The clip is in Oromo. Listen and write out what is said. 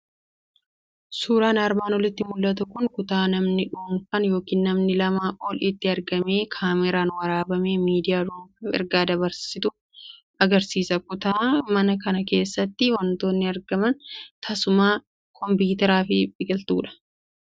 Suuraan armaan olitti mul'atu kun kutaa namni dhuunfaan yookiin namni lamaa ol itti argamee kaameraan waraabamee miidiyaa dhuunfaaf ergaa dabarsatu agarsiisa. Kutaa mana kana keessatti waantonni argaman teessuma, kompiitaraa fi biqiltuudha.